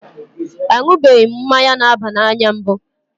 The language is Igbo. A ṅụbeghị mmanya na-aba n'anya mbụ.